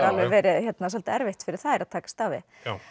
verið svolítið erfitt fyrir þær að takast á við